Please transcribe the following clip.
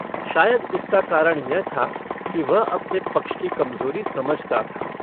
शायद इसका कारण यह था कि वह अपने पक्ष की कमजोरी समझता था।